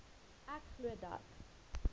ek glo dat